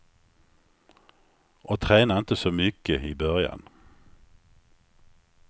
Och träna inte så mycket i början.